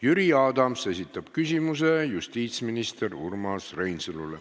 Jüri Adams esitab küsimuse justiitsminister Urmas Reinsalule.